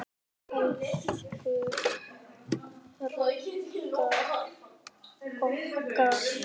Elsku Ragga okkar.